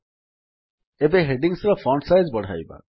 ବର୍ତ୍ତମାନ ହେଡିଙ୍ଗ୍ସ ର font size ବଢ଼ାଇବା